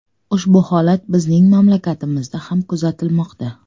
Ushbu holat bizning mamlakatimizda ham kuzatilmoqda.